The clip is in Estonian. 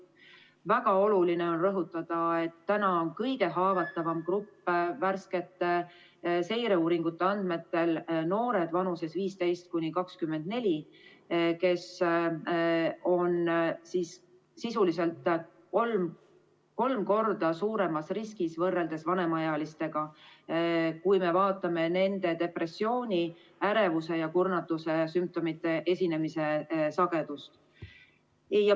Väga oluline on rõhutada, et värskete seireuuringute andmetel on kõige haavatavam grupp noored vanuses 15–24, kes on sisuliselt kolm korda suuremas riskis võrreldes vanemaealistega, kui me vaatame nende depressiooni, ärevuse ja kurnatuse sümptomite esinemise sagedust.